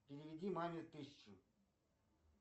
переведи маме тысячу